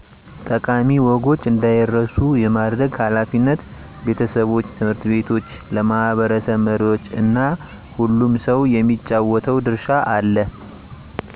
ጠቃሚ ወጎች እንዳይረሱ የማድረግ ኃላፊነት ቤተሰቦች፣ ት/ ቤቶች፣ ለማህበረሰብ መሪዎች እና ሁሉም ሰው የሚጫወተው ድርሻ አለ።